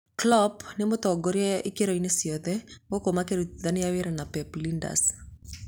Klopp nĩ mũtongoria ikĩro-inĩ ciothe, gũkũ makĩrutithania wĩra na Pep Ljinders.